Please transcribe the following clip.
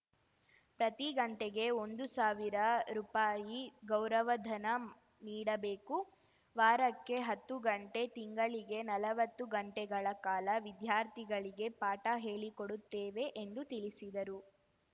ಪ್ರತಿ ಗಂಟೆಗೆ ಒಂದು ಸಾವಿರ ರುಪಾಯಿ ಗೌರವಧನ ನೀಡಬೇಕು ವಾರಕ್ಕೆ ಹತ್ತು ಗಂಟೆ ತಿಂಗಳಿಗೆ ನಲವತ್ತು ಗಂಟೆಗಳ ಕಾಲ ವಿದ್ಯಾರ್ಥಿಗಳಿಗೆ ಪಾಠ ಹೇಳಿಕೊಡುತ್ತೇವೆ ಎಂದು ತಿಳಿಸಿದರು